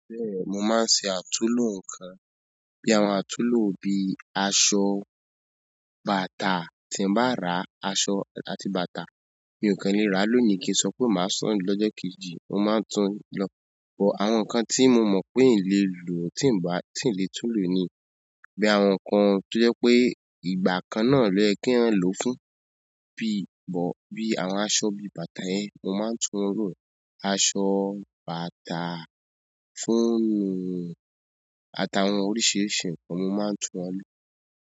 Mo máa ń ṣe àtúnlò nǹkan? Bí àwọn àtúnlò bí aṣọ, bàtà. Tí n bá ràá aṣọ àti bàtà, mi ò kan le ràá lónìí kí n sọ pé màá sán lọ́jọ́ kejì. Mo máa ń tún lọ bọ̀ àwọn nǹkan tí mo pé iìn le lò tí mo bá, tí n lè tún lò ni. Bí àwọn nǹkan tó jẹ́ pé ìgbà kan náà ló yẹ kí èèyàn lò fún bí bọ̀ bí àwọn aṣọ bí bàtà yẹn mo máa ń tún lò. Aṣọ, bàtà, fóònù àtà wọn oríṣiríṣi nǹkan mo máa ń tún wọn lò.